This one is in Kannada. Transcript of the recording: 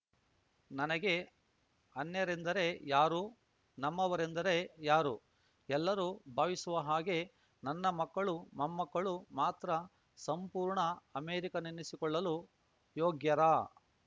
ನನಗೆ ಅನ್ಯರೆಂದರೆ ಯಾರು ನಮ್ಮವರೆಂದರೆ ಯಾರು ಎಲ್ಲರೂ ಭಾವಿಸುವ ಹಾಗೆ ನನ್ನ ಮಕ್ಕಳು ಮೊಮ್ಮಕ್ಕಳು ಮಾತ್ರ ಸಂಪೂರ್ಣ ಅಮೇರಿಕನ್ನೆನ್ನಿಸಿಕೊಳ್ಳಲು ಯೋಗ್ಯರಾ